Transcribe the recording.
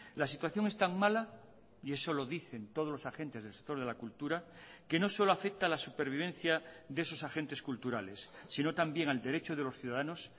la situación es tan mala y eso lo dicen todos los agentes del sector de la cultura que no solo afecta a la supervivencia de esos agentes culturales sino también al derecho de los ciudadanos